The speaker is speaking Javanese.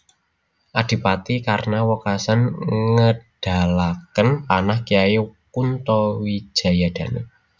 Adipati Karna wekasan ngedalaken panah Kyai Kunto Wijayadanu